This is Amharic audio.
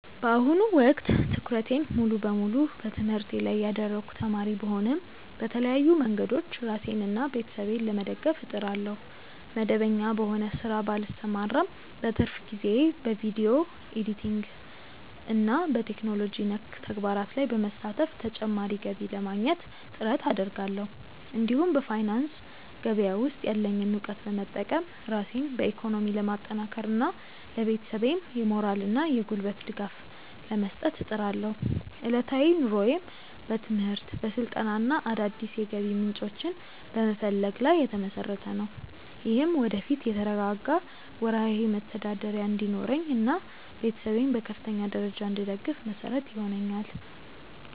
በአሁኑ ወቅት ትኩረቴን ሙሉ በሙሉ በትምህርቴ ላይ ያደረግኩ ተማሪ ብሆንም፣ በተለያዩ መንገዶች ራሴንና ቤተሰቤን ለመደገፍ እጥራለሁ። መደበኛ በሆነ ሥራ ባልሰማራም፣ በትርፍ ጊዜዬ በቪዲዮ ኤዲቲንግና በቴክኖሎጂ ነክ ተግባራት ላይ በመሳተፍ ተጨማሪ ገቢ ለማግኘት ጥረት አደርጋለሁ። እንዲሁም በፋይናንስ ገበያ ውስጥ ያለኝን እውቀት በመጠቀም ራሴን በኢኮኖሚ ለማጠናከርና ለቤተሰቤም የሞራልና የጉልበት ድጋፍ ለመስጠት እጥራለሁ። ዕለታዊ ኑሮዬም በትምህርት፣ በስልጠናና አዳዲስ የገቢ ምንጮችን በመፈለግ ላይ የተመሰረተ ነው። ይህም ወደፊት የተረጋጋ ወርሃዊ መተዳደሪያ እንዲኖረኝና ቤተሰቤን በከፍተኛ ደረጃ እንድደግፍ መሰረት ይሆነኛል።